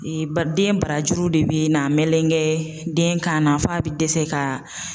den barajuru de bɛ n'a meleke den kan na f'a bɛ dɛsɛ ka